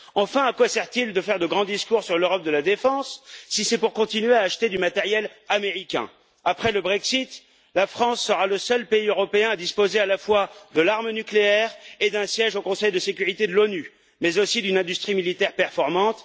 Enfin, à quoi sert il de faire de grands discours sur l'Europe de la défense si c'est pour continuer à acheter du matériel américain? Après le Brexit, la France sera le seul pays européen à disposer à la fois de l'arme nucléaire et d'un siège au Conseil de sécurité de l'ONU, mais aussi d'une industrie militaire performante.